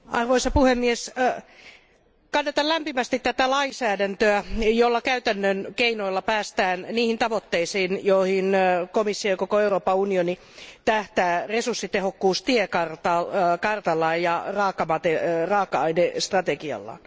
Arvoisa puhemies, kannatan lämpimästi tätä lainsäädäntöä, jolla käytännön keinoilla päästään niihin tavoitteisiin, joihin komissio ja koko Euroopan unioni tähtää resurssitehokkuustiekartalla ja raaka ainestrategiallaan.